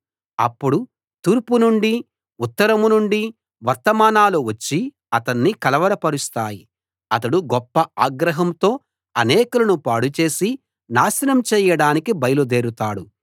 అప్పుడు తూర్పు నుండి ఉత్తరం నుండి వర్తమానాలు వచ్చి అతన్ని కలవర పరుస్తాయి అతడు గొప్ప ఆగ్రహంతో అనేకులను పాడుచేసి నాశనం చేయడానికి బయలుదేరుతాడు